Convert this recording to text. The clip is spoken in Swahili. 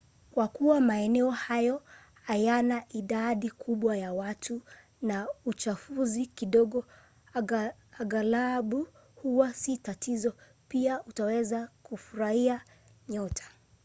kwa kuwa maeneo hayo hayana idadi kubwa ya watu na uchafuzi kidogo aghalabu huwa si tatizo pia utaweza kufuruhia nyota